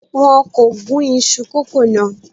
Wọn kò gún iṣu kókò náà.